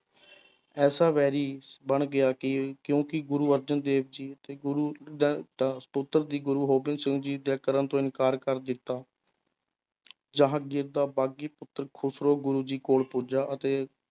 ਐਸਾ ਵੈਰੀ ਬਣ ਗਿਆ ਕਿ ਕਿਉਂਕਿ ਗੁਰੂ ਅਰਜਨ ਦੇਵ ਜੀ ਅਤੇ ਗੁਰੂ ਗੁਰੂ ਗੋਬਿੰਦ ਸਿੰਘ ਜੀ ਦੇ ਕਰਨ ਤੋਂ ਇਨਕਾਰ ਕਰ ਦਿੱਤਾ ਜਹਾਂਗੀਰ ਦਾ ਬਾਗੀ ਪੁੱਤਰ ਖੁਸਰੋ ਗੁਰੂ ਜੀ ਕੋਲ ਪੁੱਜਾ ਅਤੇ